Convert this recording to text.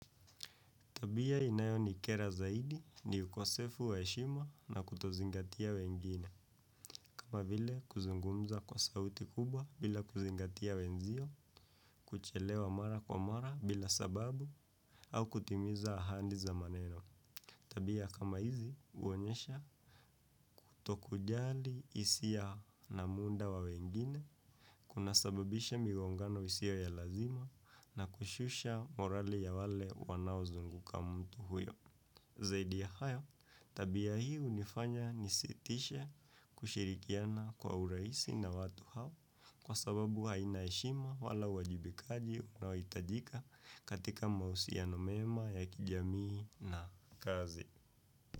Tabia inayo nikera zaidi ni ukosefu wa heshima na kutozingatia wengine, kama vile kuzungumza kwa sauti kubwa bila kuzingatia wenzio, kuchelewa mara kwa mara bila sababu au kutimiza ahadi za maneno. Tabia kama hizi uonyesha kutokujali hisia na muda wa wengine, kuna sababisha migongano isio ya lazima na kushusha morali ya wale wanao zunguka mtu huyo. Zaidi ya hayo, tabia hii hunifanya nisitishe kushirikiana kwa urahisi na watu hao kwa sababu haina heshima wala uwajibikaji unaohitajika katika mahusiano mema ya kijamii na kazi.